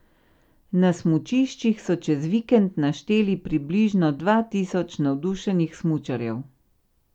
Na smučiščih so čez vikend našteli približno dva tisoč navdušenih smučarjev.